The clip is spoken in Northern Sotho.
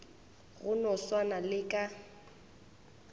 go no swana le ka